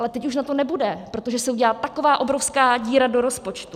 Ale teď už na to nebude, protože se udělá taková obrovská díra do rozpočtu.